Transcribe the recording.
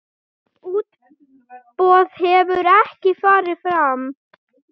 Útboð hefur ekki farið fram.